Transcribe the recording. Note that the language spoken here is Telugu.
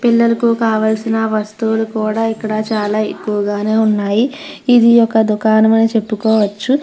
పిల్లలకు కావలసిన వస్తువులు కూడ ఇక్కడ చాలా ఎక్కువగానే ఉన్నాయి ఇది ఒక దుకాణము అని చెప్పుకోవచ్చు.